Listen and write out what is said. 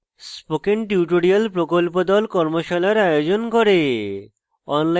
spoken tutorial প্রকল্প the কর্মশালার আয়োজন করে